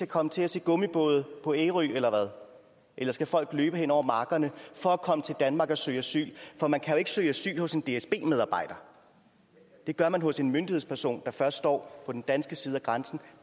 komme til at se gummibåde på ærø eller hvad eller skal folk løbe hen over markerne for at komme til danmark og søge asyl for man kan jo ikke søge asyl hos en dsb medarbejder det gør man hos en myndighedsperson der først står på den danske side af grænsen og